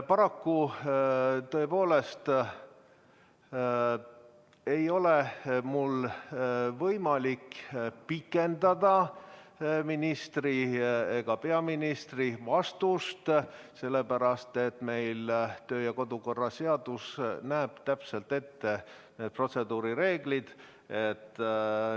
Paraku tõepoolest ei ole mul võimalik pikendada ministri ega ka peaministri vastamise aega, sellepärast et töö- ja kodukorra seadus näeb täpselt ette protseduurireeglid.